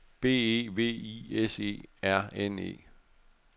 B E V I S E R N E